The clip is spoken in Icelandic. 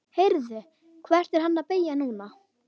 Heyrðu. hvert er hann að beygja núna?